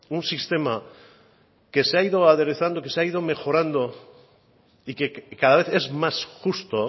un sistema que se ha ido aderezando que se ha ido mejorando y que cada vez es más justo